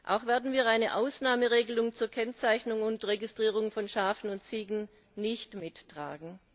Auch werden wir eine Ausnahmeregelung zur Kennzeichnung und Registrierung von Schafen und Ziegen nicht mittragen.